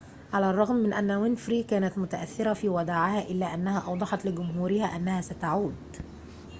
على الرغم من أن وينفري كانت متأثرةً في وداعها إلا أنها أوضحت لجمهورها أنها ستعود